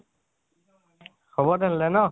হব তেনেহলে ন?